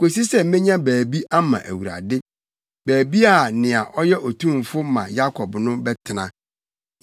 kosi sɛ menya baabi ama Awurade, baabi a nea ɔyɛ Otumfo ma Yakob No bɛtena.”